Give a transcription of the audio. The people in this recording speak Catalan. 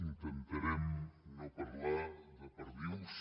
intentarem no parlar de perdius